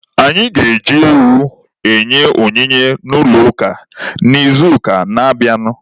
Anyị ga-eji ewu nye onyinye n'ụlọ ụka n'izuụka na-abịanụ.